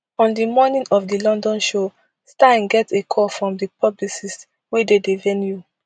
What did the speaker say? on di morning of di london show stein get a call from di publicist wey dey di venue